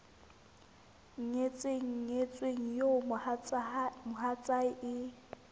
nyetseng nyetsweng eo mohatsae e